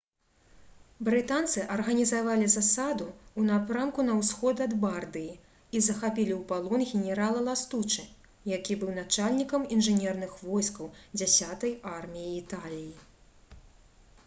брытанцы арганізавалі засаду ў напрамку на ўсход ад бардыі і захапілі ў палон генерала ластучы які быў начальнікам інжынерных войскаў дзясятай арміі італіі